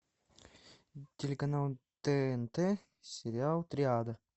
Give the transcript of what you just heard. телеканал тнт сериал триада